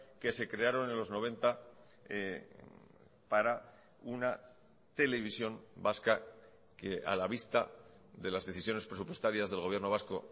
que se crearon en los noventa para una televisión vasca que a la vista de las decisiones presupuestarias del gobierno vasco